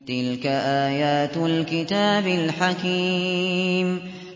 تِلْكَ آيَاتُ الْكِتَابِ الْحَكِيمِ